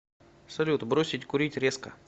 салют бросить курить резко